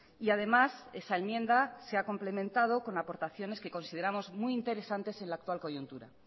y además esa enmienda se ha complementado con aportaciones que consideramos muy interesantes en la actual coyuntura